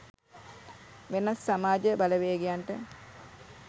වෙනත් සමාජ බලවේගයන්ට